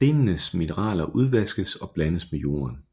Stenenes mineraler udvaskes og blandes med jorden